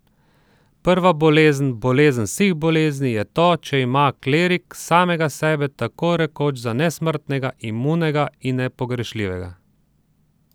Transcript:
Prva bolezen, bolezen vseh bolezni, je to, če ima klerik samega sebe tako rekoč za nesmrtnega, imunega in nepogrešljivega.